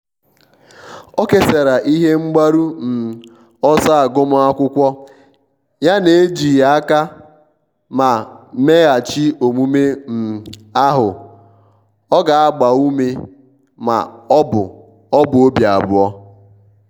o kesara ihe mgbaru um ọsọ agụmakwụkwọ yana-ejighi aka ma mmeghachi omume um ahu ọ ga-agba ume ma ọ bụ ọ bụ obi abụọ.